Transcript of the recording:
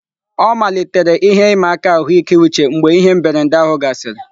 Ọ malitere ihe ịma aka ahụike uche mgbe ihe mberede ahụ gasịrị.